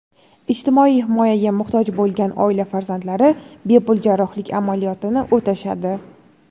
ijtimoiy himoyaga muhtoj bo‘lgan oila farzandlari bepul jarrohlik amaliyotini o‘tashadi.